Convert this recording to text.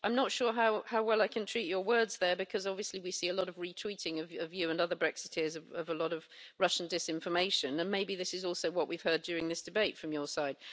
I'm not sure how well I can treat your words there, because obviously we see a lot of retweeting by you and other Brexiteers of a lot of Russian disinformation, and maybe this is also what we've heard during this debate, from your side.